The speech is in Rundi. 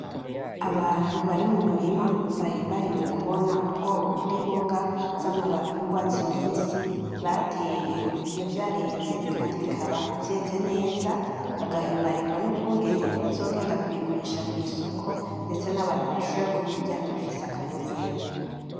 Abantu bari mu murima bahimbariwe kubona ubwoko bw’imboga z’amababi y’ugwatsi rubisi bateye iyovyareze kandi bikaba vyeze neza bagahimbarigwa n’ukungene bazogenda kubigurisha kw’isoko ndetse nabantu bashobore kubirya bifise akanovera.